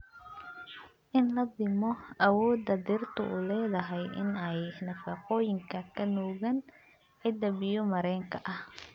In la dhimo awoodda dhirtu u leedahay in ay nafaqooyinka ka nuugaan ciidda biyo-mareenka ah.